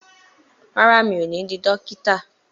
Rárá, mi ò ní di dókítà